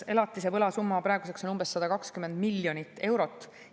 Elatise võla summa on praeguseks umbes 120 miljonit eurot.